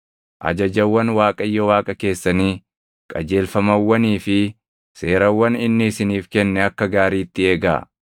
Ajajawwan Waaqayyo Waaqa keessanii, qajeelfamawwanii fi seerawwan inni isiniif kenne akka gaariitti eegaa.